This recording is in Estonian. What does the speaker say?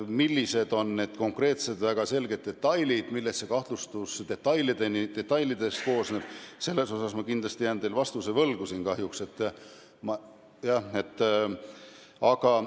Millised on konkreetsed detailid, millest see kahtlustus koosneb, siin jään ma teile vastuse kahjuks võlgu.